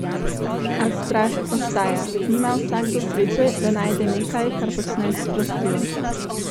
A strast ostaja: "Nima vsakdo sreče, da najde nekaj, kar počne s strastjo.